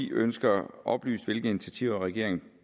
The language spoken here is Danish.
ønsker oplyst hvilke initiativer regeringen